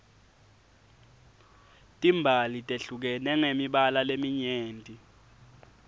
timbali tehlukene ngemibala leminyeni